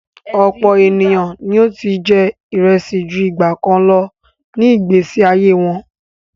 Ọ̀pọ̀ ènìyàn ni ó ti jẹ́ ìrẹsì ju ìgbàkan lọ ní ìgbésí ayé wọn.